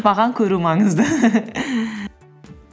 маған көру маңызды